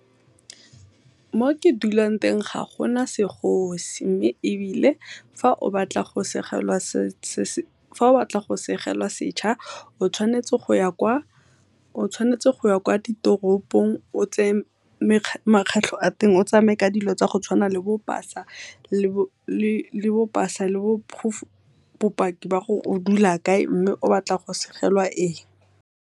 Mo ke dulang teng ga gona segosi mme ebile fa o batla go segelwa setšha o tshwanetse go ya kwa ditoropong o tse makgatlho a teng, o tsamaye ka dilo tse di tshwanang le bo pasa le bopaki ba gore o dula kae mme o batla go segelwa eng.